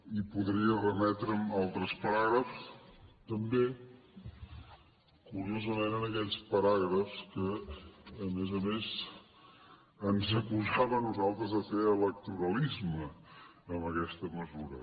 i podria remetre’m a altres paràgrafs també curiosament a aquells paràgrafs que a més a més ens acusava a nosaltres de fer electoralisme amb aquesta mesura